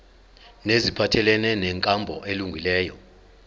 neziphathelene nenkambo elungileyo